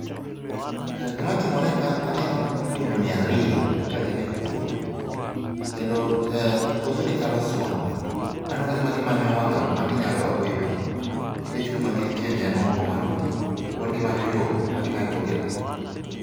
Gima timore ka aneno mumbni ariyo ka gin e puodho kendo puodhoni chalo swamp aneno ka gima gimanyo yo magi nyalo dok godo e pi nikech kuma gintiere ni en oko mar pi, koro gimanyo yo magi nyalo dok godo e pi